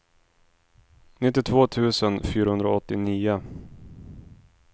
nittiotvå tusen fyrahundraåttionio